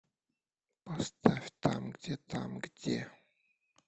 поставь там где там где